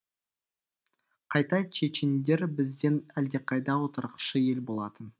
қайта чечендер бізден әлдеқайда отырықшы ел болатын